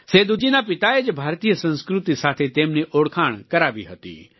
સેદૂ જીના પિતાએ જ ભારતીય સંસ્કૃતિ સાથે તેમની ઓળખાણ કરાવી હતી